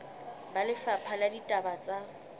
ba lefapha la ditaba tsa